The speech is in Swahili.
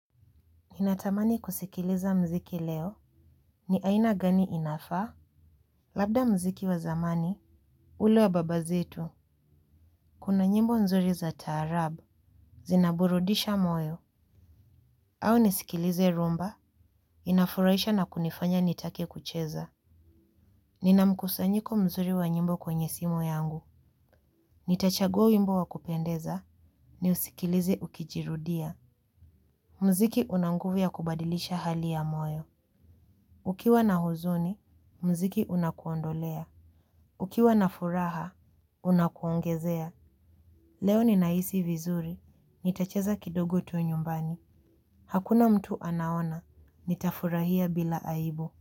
Ninatamani kusikiliza mziki leo, ni aina gani inafaa, labda mziki wa zamani, ule wa baba zetu, kuna nyimbo nzuri za taarab, zinaburudisha moyo, au nisikilize rhumba, inafuraisha na kunifanya nitake kucheza. Nina mkusanyiko mzuri wa nyimbo kwenye simu yangu, nitachagua wimbo wa kupendeza, niusikilize ukijirudia. Mziki una nguvu ya kubadilisha hali ya moyo. Ukiwa na huzuni, mziki unakuondolea. Ukiwa na furaha, unakuongezea. Leo ninahisi vizuri, nitacheza kidogu tu nyumbani. Hakuna mtu anaona, nitafurahia bila aibu.